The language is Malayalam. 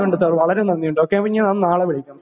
നന്ദിയുണ്ട് വളരെ നന്ദിയുണ്ട് ഓക്കേ ഞാൻ നാളെ വിളിക്കാം സാർ